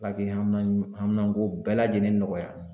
Ala kɛ haminan ko bɛɛ lajɛlen nɔgɔya.